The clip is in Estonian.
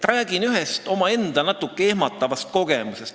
Räägin ühest omaenda natukene ehmatavast kogemusest.